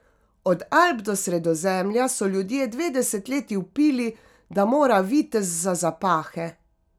Od Alp do Sredozemlja so ljudje dve desetletji vpili, da mora Vitez za zapahe.